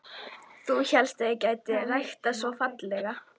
Þú hélst ég gæti ekki ræktað svo fallega.